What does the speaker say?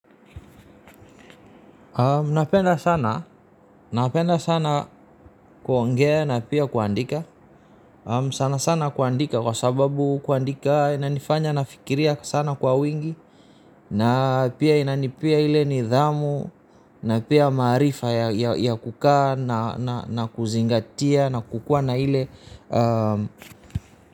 Napenda sana. Napenda sana kuongea na pia kuandika. Sana sana kuandika kwa sababu kuandika inanifanya nafikiria sana kwa wingi. Na pia inanipia ile nidhamu. Na pia maarifa ya kukaa na kuzingatia na kukua na ile.